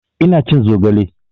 Ina cin zogale